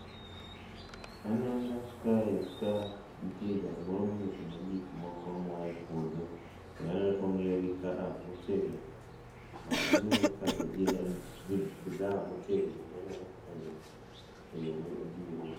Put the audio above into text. Aneno kae ka nitie jal moro miuso ne gik moko moae puodho kendo aneno ka ongiyo gi kaka motegno mondo onge kabe gin bidhaa motegno manyalo konyo e yoo madieri